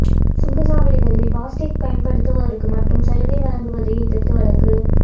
சுங்க சாவடிகளில் பாஸ்டேக் பயன்படுத்துவோருக்கு மட்டும் சலுகை வழங்குவதை எதிர்த்து வழக்கு